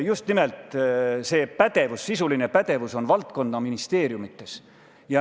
Just nimelt see pädevus, sisuline pädevus on valdkonnaministeeriumides.